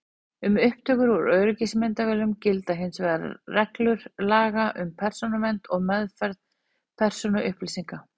Um upptökur úr öryggismyndavélum gilda hins vegar reglur laga um persónuvernd og meðferð persónuupplýsinga.